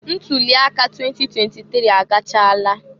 Ntuli aka 2023 agachala.